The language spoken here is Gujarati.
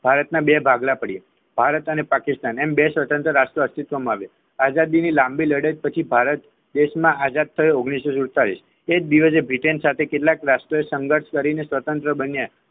ભારતના બે ભાગલા પડે ભારત અને પાકિસ્તાન એમ બે સ્વતંત્ર રાષ્ટ્રીયઅસ્તિત્વમાં આવ્યા આઝાદીની લાંબી લડત પછી ભારત દેશ આઝાદ થયો ઓગણીસોસુતાળીસ એ દિવસે બ્રિટન સાથે કેટલાક રાષ્ટ્રીય સંગઠન કરી સ્વતંત્ર બન્યા